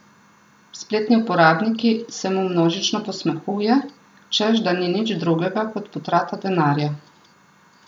Spletni uporabniki se mu množično posmehuje, češ da ni nič drugega kot potrata denarja.